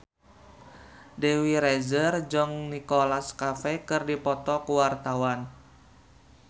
Dewi Rezer jeung Nicholas Cafe keur dipoto ku wartawan